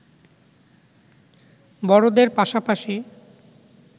বড়দের পাশাপাশি